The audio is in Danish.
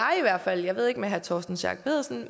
i hvert fald jeg ved ikke med herre torsten schack pedersen